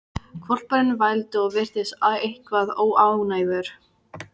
Hvolpurinn vældi og virtist eitthvað óánægður.